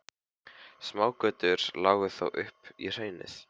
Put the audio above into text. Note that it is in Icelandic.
Smágötur lágu þó upp í hraunið.